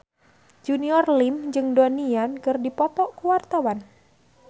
Junior Liem jeung Donnie Yan keur dipoto ku wartawan